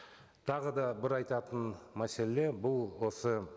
тағы да бір айтатын мәселе бұл осы